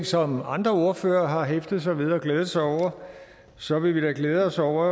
som andre ordførere har hæftet sig ved og glædet sig over så vil vi da glæde os over